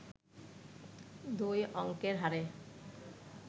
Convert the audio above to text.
দুই অংকের হারে